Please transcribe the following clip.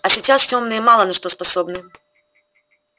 а сейчас тёмные мало на что способны